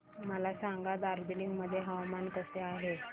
मला सांगा दार्जिलिंग मध्ये हवामान कसे आहे